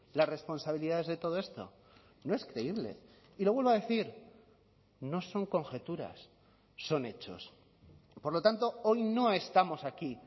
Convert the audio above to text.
las responsabilidades de todo esto no es creíble y lo vuelvo a decir no son conjeturas son hechos por lo tanto hoy no estamos aquí